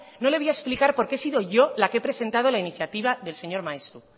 no le voy a explicar por qué he sido yo la que he presentado la iniciativa del señor maeztu